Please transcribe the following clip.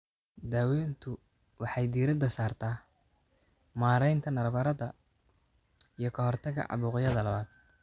Daaweyntu waxay diiradda saartaa maaraynta nabarrada iyo ka hortagga caabuqyada labaad.